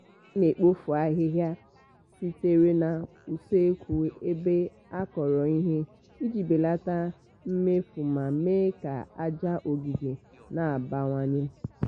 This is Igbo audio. anyị na-ekpofu ahịhịa sitere n'usekwu ebe a kọrọ ihe iji belata mmefu ma mee ka aja ogige na-amụbawanye.